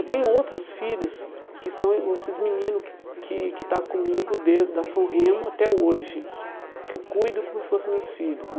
Eu tenho outros filhos que são os esses meninos que que estão comigo, desde da da São Remo até hoje, que eu cuido como se fossem meus filhos.